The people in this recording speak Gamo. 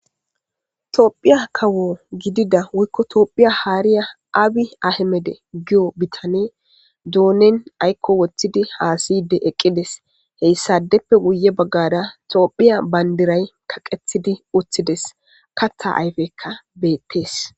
Tophiya kawo gidida woyko tophiya harya awa abiy ahimede giyo bitaney donen ayko wothid hasa'id eqides. Hesadeppe guye bagara tophiya bandiray kaqetid utides. Kata ayfeyka betes.